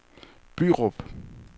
Bryrup